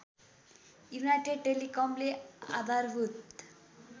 United टेलिकमले आधारभूत